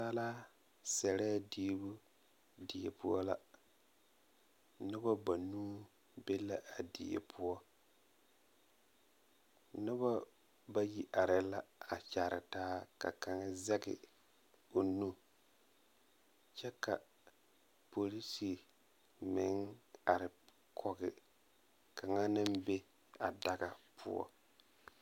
Naasaalaa sɛrɛɛ diibu die poɔ la noba banuu be la a die poɔ noba bayi areɛɛ la a kyaara taa ka kaŋ zege o nu kyɛ ka porise meŋ are kɔge kaŋa naŋ be a daga poɔ.